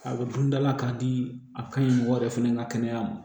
A bɛ dun da la k'a di a ka ɲi mɔgɔ wɛrɛ fana ka kɛnɛya ma